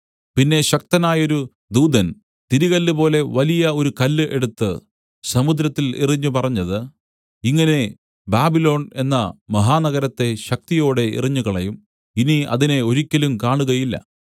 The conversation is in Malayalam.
പിന്നെ ശക്തനായൊരു ദൂതൻ തിരികല്ല് പോലെ വലിയ ഒരു കല്ല് എടുത്തു സമുദ്രത്തിൽ എറിഞ്ഞു പറഞ്ഞത് ഇങ്ങനെ ബാബിലോൺ എന്ന മഹാനഗരത്തെ ശക്തിയോടെ എറിഞ്ഞുകളയും ഇനി അതിനെ ഒരിക്കലും കാണുകയില്ല